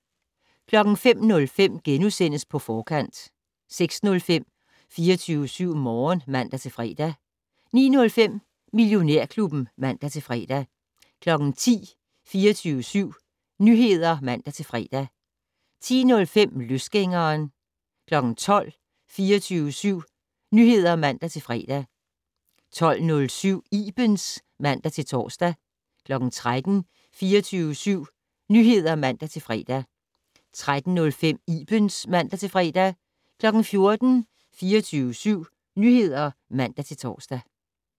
05:05: På Forkant * 06:05: 24syv Morgen (man-fre) 09:05: Millionærklubben (man-fre) 10:00: 24syv Nyheder (man-fre) 10:05: Løsgængeren 12:00: 24syv Nyheder (man-fre) 12:07: Ibens (man-tor) 13:00: 24syv Nyheder (man-fre) 13:05: Ibens (man-fre) 14:00: 24syv Nyheder (man-tor)